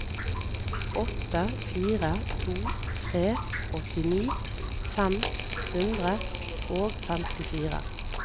åtte fire to tre åttini fem hundre og femtifire